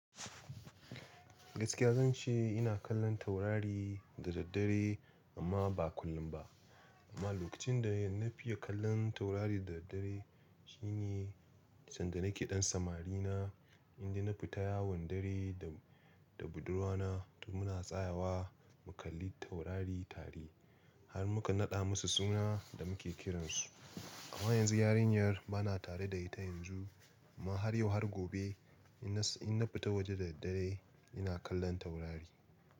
Gaskiya zan ce ina kallon taurari da daddare amma ba kullum ba. Amma lokacin da na fiya kallon taurari da daddare shine sanda nake ɗan samari na inda na fita yawon dare da, da budurwa na, muna tsayawa mu kalli taurari tare har muka naɗa musu suna da muke kiransu. Amma yanzu yarinyar bana tare da ita yanzu amma har yau har gobe inna futa waje da daddare ina kallon taurari.